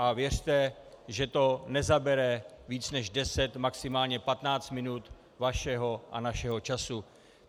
A věřte, že to nezabere víc než 10, maximálně 15 minut vašeho a našeho času.